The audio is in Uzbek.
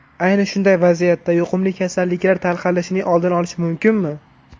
Ayni shunday vaziyatda yuqumli kasalliklar tarqalishining oldini olish mumkinmi?